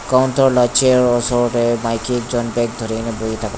counter la chair osor tae maki ekjon bag dhurina boithaka.